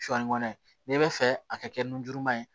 Sɔɔni nɛ bɛ fɛ a ka kɛ nujuruma ye